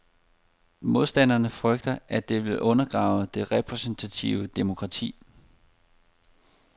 Modstanderne frygter, at det vil undergrave det repræsentative demokrati.